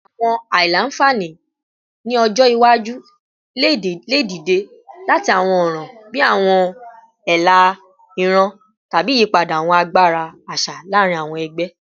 Awọn aila-nfani ni ọjọ iwaju le dide lati awọn ọran bii awọn ela iran tabi iyipada awọn agbara aṣa laarin awọn ẹgbẹ